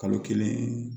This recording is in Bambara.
Kalo kelen